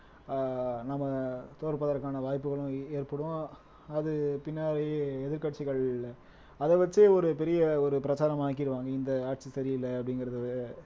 ஆஹ் நம்ம தோற்பதற்கான வாய்ப்புகளும் ஏற்படும் அது பின்னாடி எதிர்க்கட்சிகள் அதை வச்சே ஒரு பெரிய ஒரு பிரச்சாரம் ஆக்கிருவாங்க இந்த ஆட்சி சரியில்லை அப்படிங்கிறது